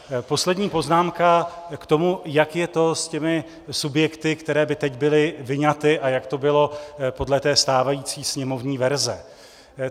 Poslední poznámka k tomu, jak je to s těmi subjekty, které by teď byly vyňaty, a jak to bylo podle té stávající sněmovní verze.